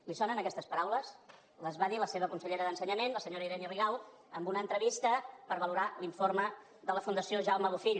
li sonen aquestes paraules les va dir la seva consellera d’ensenyament la senyora irene rigau en una entrevista per valorar l’informe de la fundació jaume bofill